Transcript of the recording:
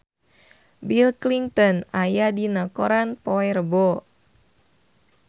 Bill Clinton aya dina koran poe Rebo